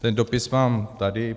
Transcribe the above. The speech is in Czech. Ten dopis mám tady.